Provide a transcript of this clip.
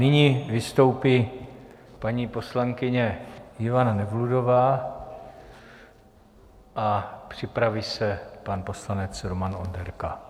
Nyní vystoupí paní poslankyně Ivana Nevludová a připraví se pan poslanec Roman Onderka.